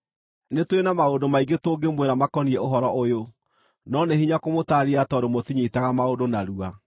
Nĩtũrĩ na maũndũ maingĩ tũngĩmwĩra makoniĩ ũhoro ũyũ, no nĩ hinya kũmũtaarĩria tondũ mũtinyiitaga maũndũ narua.